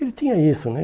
Ele tinha isso, né?